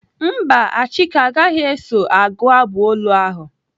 Mba, Achike agaghị eso agụ abụ olu ahụ.